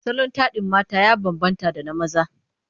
Salon taɗin mata ya bambanta da na maza.